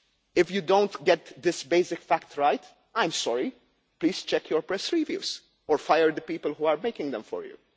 If you do not get this basic fact right, I am sorry, please check your press reviews or fire the people who are making them for